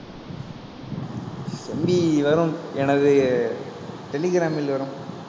செம்பி வரும் எனது டெலிகிராமில் வரும்